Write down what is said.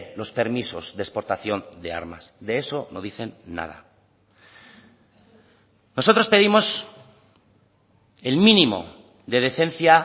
los permisos de exportación de armas de eso no dicen nada nosotros pedimos el mínimo de decencia